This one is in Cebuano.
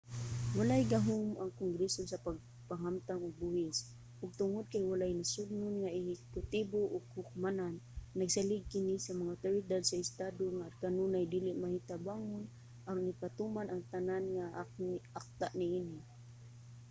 walay gahum ang kongreso sa pagpahamtang og buhis ug tungod kay walay nasodnon nga ehekutibo o hukmanan nagsalig kini sa mga awtoridad sa estado nga kanunay dili matinabangon aron ipatuman ang tanan nga mga akta niini